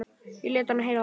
Og lét hann heyra það.